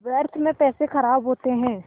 व्यर्थ में पैसे ख़राब होते हैं